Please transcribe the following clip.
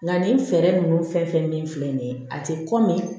Nka nin fɛɛrɛ ninnu fɛn fɛn bɛ min filɛ nin ye a tɛ kɔmi